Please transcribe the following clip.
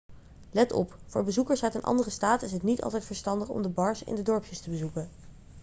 let op voor bezoekers uit een andere staat is het niet altijd verstandig om de bars in de dorpjes te bezoeken